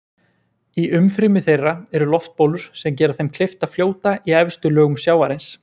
Í umfrymi þeirra eru loftbólur sem gera þeim kleift að fljóta í efstu lögum sjávarins.